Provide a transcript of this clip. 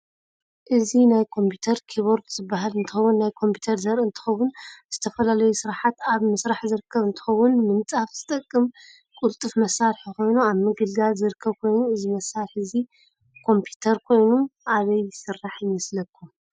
እዚ ናይ ከምፒተር ክቦርድ ዝበሃል እንትከውን ናይ ኮምፒተር ዘርኢ እንትከውን ንዝተፈላላዩ ስራሓት ኣብ ምስራሕ ዝርከብ እንትከውን ንምፃሓፍ ዝጠቅም ቁልጥፍ መሳርሕ ኮይኑ ኣብ ምግልጋል ዝርከብ ኮይኑ እዚ መሳርሕ እዚ ኮፒተር ኮይኑ ኣበይ ይስራሕ ይመስለኩም?